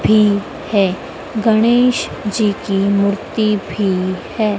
भी है गणेश जी की मूर्ति भी है।